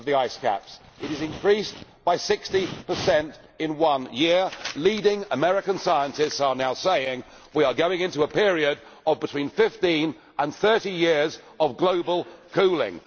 The ice has increased by 60 in one year. Leading American scientists are now saying that we are going into a period of between 15 and 30 years of global cooling.